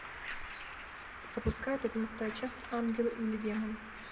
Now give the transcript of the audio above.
запускай пятнадцатая часть ангел или демон